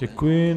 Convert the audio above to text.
Děkuji.